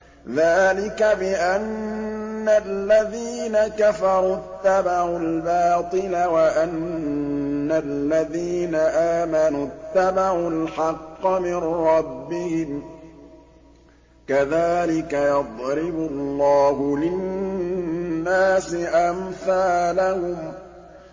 ذَٰلِكَ بِأَنَّ الَّذِينَ كَفَرُوا اتَّبَعُوا الْبَاطِلَ وَأَنَّ الَّذِينَ آمَنُوا اتَّبَعُوا الْحَقَّ مِن رَّبِّهِمْ ۚ كَذَٰلِكَ يَضْرِبُ اللَّهُ لِلنَّاسِ أَمْثَالَهُمْ